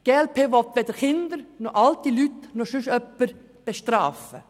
Die glp-Fraktion will weder Kinder noch alte Leute noch sonst jemanden bestrafen.